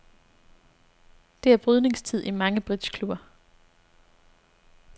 Det er brydningstid i mange bridgeklubber.